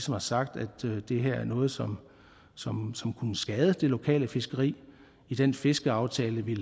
har sagt at det her er noget som som kunne skade det lokale fiskeri i den fiskeaftale vi